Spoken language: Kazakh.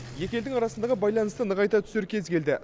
екі елдің арасындағы байланысты нығайта түсер кез келді